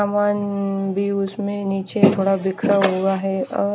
समान भी उसमें नीचे थोड़ा बिखरा हुआ है और--